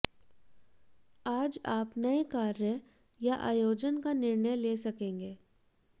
आज आप नए कार्य या आयोजन का निर्णय ले सकेंगे